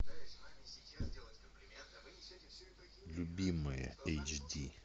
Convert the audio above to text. любимое эйч ди